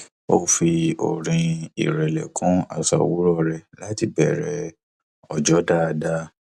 ó fi orin ìrẹlẹ kún àṣà owurọ rẹ láti bẹrẹ ọjọ dáadáa